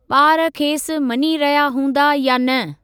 ॿार खेसि मञी रहिया हूंदा या न।